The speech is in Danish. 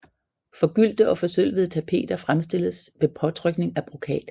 Forgyldte og forsølvede tapeter fremstilles ved påtrykning af brokat